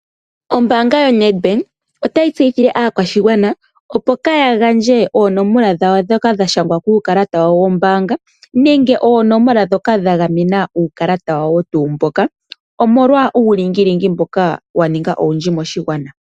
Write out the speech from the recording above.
Ombaanga yoNedbank otayi tseyithile aakwashigwana, opo kaaya gandje oonomola dhawo ndhoka dha shangwa kuukalata wawo wombaanga nenge oonomola ndhoka dha gamena uukalata wawo mboka, omolwa uulingilingi mboka wa ninga owundji moshigwana.